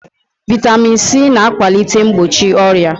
Vitamin C na akwalite mgbochi ọrịa